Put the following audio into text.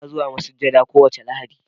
Ina zuwa masujada kowace Lahadi.